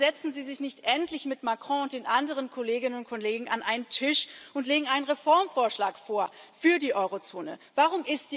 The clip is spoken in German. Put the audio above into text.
Warum setzen Sie sich nicht endlich mit Macron und den anderen Kolleginnen und Kollegen an einem Tisch und legen einen Reformvorschlag für die Eurozone vor?